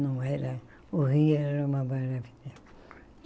Não era... O Rio era uma maravilha.